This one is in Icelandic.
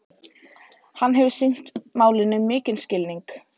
Hann hefur sýnt málinu mikinn skilning